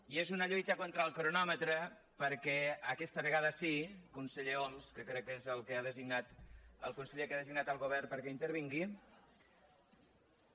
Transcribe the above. i és una lluita contra el cronòmetre perquè aquesta vegada sí conseller homs que crec que és el conseller que ha designat el govern perquè intervingui